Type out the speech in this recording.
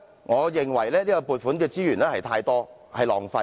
我認為這項撥款太多，因而造成浪費。